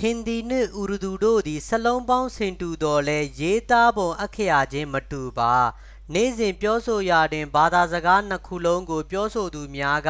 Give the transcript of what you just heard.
ဟင်ဒီနှင့် အူရဒူတို့သည် စာလုံးပေါင်း ဆင်တူသော်လည်း ရေးသားပုံ အက္ခရာချင်းမတူပါ နေ့စဉ် ပြောဆိုရာတွင် ဘာသာစကားနှစ်ခုလုံးကို ပြောဆိုသူများက